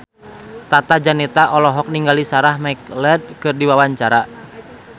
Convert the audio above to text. Tata Janeta olohok ningali Sarah McLeod keur diwawancara